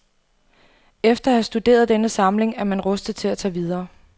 Efter at have studeret denne samling er man rustet til at tage videre.